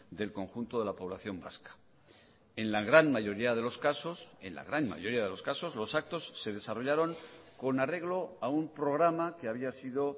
del conjunto de la población vasca en la gran mayoría de los casos en la gran mayoría de los casos los actos se desarrollaron con arreglo a un programa que había sido